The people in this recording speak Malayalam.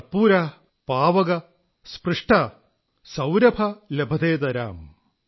കർപൂരഃ പാവക സ്പൃഷ്ടഃ സൌരഭ ലഭതേതരാം